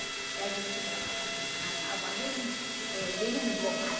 E a gente se colocava uma anágua bem eh bem engomada.